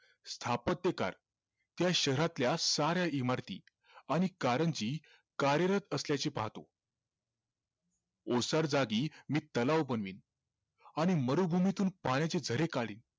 स्थापत्य काय त्या शहरातल्या साऱ्या इमारती आणि कारंजी कार्यरत असल्याची पाहतो ओसार जागी मी तलाव बनवीण आणि मनोभूमीतून पाण्याचे झरे काढीन